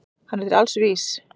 Hann er til alls vís.